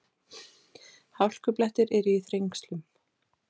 Hálkublettir eru í Þrengslum